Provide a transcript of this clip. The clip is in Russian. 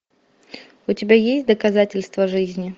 у тебя есть доказательство жизни